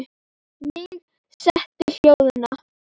Mig setti hljóða.